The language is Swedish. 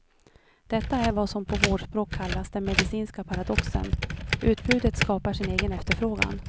Detta är vad som på vårdspråk kallas den medicinska paradoxen, utbudet skapar sin egen efterfrågan.